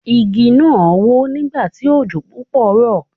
Igi náà wó nígbà tí òjò púpọ̀ rọ̀.